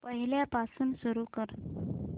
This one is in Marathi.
पहिल्यापासून सुरू कर